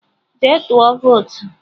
Jee tụọ votu!